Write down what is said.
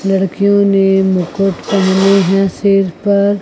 लड़कियों ने मुकुट पहने है सिर पर--